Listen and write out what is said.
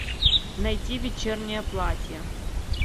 найти вечернее платье